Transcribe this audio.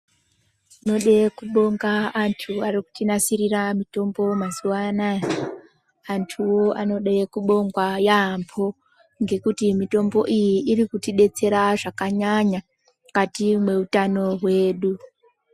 Tinoda kubonga antu arikutinasirire mitombo mazuva anaya. Antuwo anoda kubongwa yaamho ngekuti mitombo iyi irikutidetsera zvakanyanya mukati mehutano hwedu.